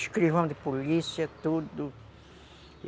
Escrevam de polícia, tudo.